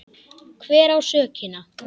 Hver á sökina?